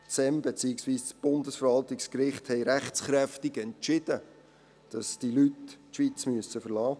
Das SEM beziehungsweise das Bundesverwaltungsgericht haben rechtskräftig entschieden, dass diese Leute die Schweiz verlassen müssen.